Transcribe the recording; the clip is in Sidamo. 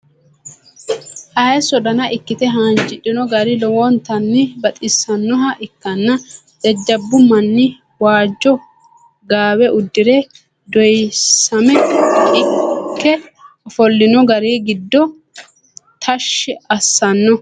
hayiiso danna ikite haanjidhinno gari lowontanni baxisannoha ikanna jajabu manni waajo gawe udire doyisamme ike ofolinno gari giddo tashi asanno.